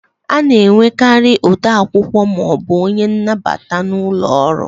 A na enwekarị ode akwụkwọ maọbụ onye nnabata n'ụlọ ọrụ